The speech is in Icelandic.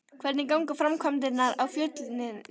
Hvernig ganga framkvæmdirnar á Fjölnisvelli?